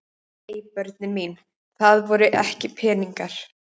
Nei börnin mín, það voru ekki peningar.